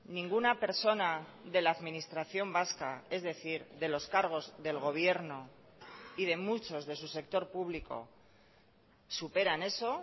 ninguna persona de la administración vasca es decir de los cargos del gobierno y de muchos de su sector público superan eso